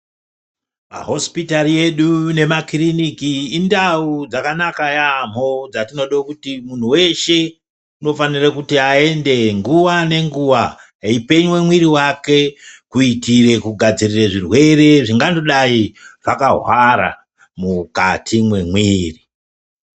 Mahosipitari edu nemakiriniki indau dzakanaka yaamo dzatinodo kuti munhu weshe kuti aende nguwa nenguwa eyipenywe mwiri wake kuitire kugadzirire zvirwere zvingangodai zvakahwara mwukati mwemwiiri.